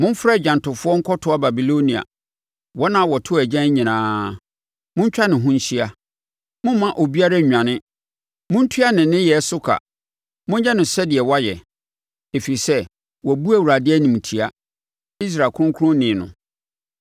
“Momfrɛ agyantofoɔ nkɔtoa Babilonia, wɔn a wɔto agyan nyinaa. Montwa ne ho nhyia; momma obiara nnwane. Montua ne nneyɛɛ so ka; monyɛ no sɛdeɛ wayɛ. Ɛfiri sɛ, wabu Awurade animtia, Israel kronkronni no.